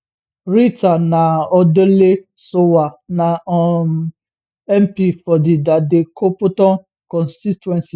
rita naa odoley sowah na um mp for di dadekotopon constituency